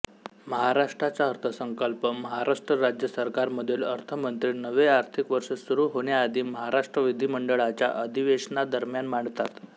महाराष्ट्राचा अर्थसंकल्प महाराष्ट्र राज्य सरकारमधील अर्थमंत्री नवे आर्थिक वर्ष सुरू होण्याआधी महाराष्ट्र विधिमंडळाच्या अधिवेशनादरम्यान मांडतात